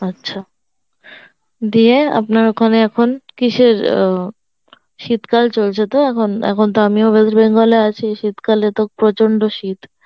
আচ্ছা, দিয়ে আপনার ওখানে এখন কিসের অ্যাঁ শীতকাল চলছে তো এখন, এখন তো আমিও West Bengal এ আছি শীতকালে তো প্রচন্ড শীত